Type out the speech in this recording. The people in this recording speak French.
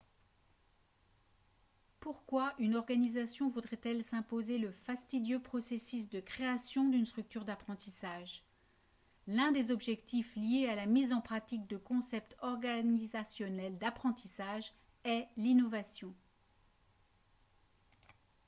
pourquoi une organisation voudrait-elle s’imposer le fastidieux processus de création d’une structure d’apprentissage ? l’un des objectifs liés à la mise en pratique de concepts organisationnels d’apprentissage est l’innovation